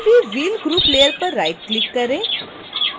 किसी भी wheel group layer पर राइटक्लिक करें